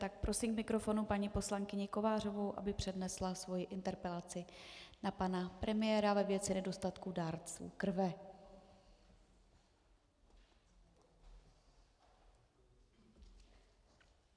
Tak prosím k mikrofonu paní poslankyni Kovářovou, aby přednesla svoji interpelaci na pana premiéra ve věci nedostatku dárců krve.